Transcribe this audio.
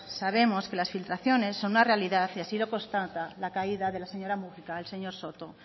sabemos que las filtraciones son una realidad y así lo constata la caída de la señora múgica el señor soto